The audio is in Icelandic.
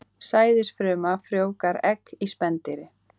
Sæðisfruma frjóvgar egg í spendýri.